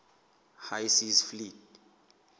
high seas fleet